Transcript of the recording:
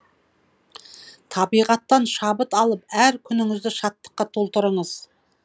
табиғаттан шабыт алып әр күніңізді шаттыққа толтырыңыз